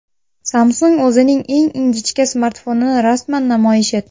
Samsung o‘zining eng ingichka smartfonini rasman namoyish etdi.